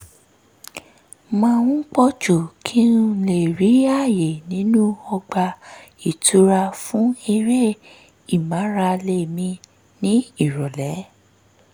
máa ń pọ̀ jù kí n lè rí àyè nínú ọgbà ìtura fún eré ìmárale mi ní ìrọ̀lẹ́